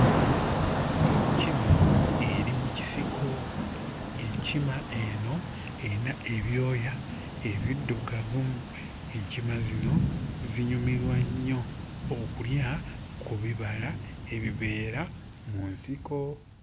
Enkima eri mu kisiko enkima eno eyina ebyoya ebiddugavu. Enkima zino zinyumirwa nnyo okulya ku bibala ebibeera mu nsiko.